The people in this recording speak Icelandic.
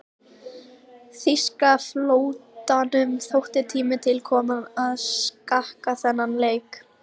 Þýska flotanum þótti tími til kominn að skakka þennan leik.